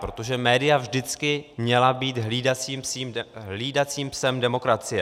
Protože média vždycky měla být hlídacím psem demokracie.